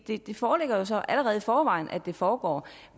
det foreligger så allerede i forvejen at det foregår